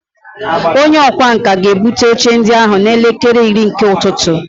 Onye ọkwá nkà ga-ebute oche ndị ahụ n'elekere iri nke ụtụtụ